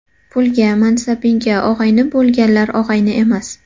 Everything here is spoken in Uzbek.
Pulga, mansabingga og‘ayni bo‘lganlar og‘ayni emas.